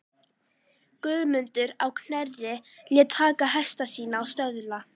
Guðmundur á Knerri lét taka hesta sína og söðla.